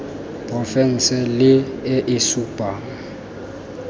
porofense le e e supang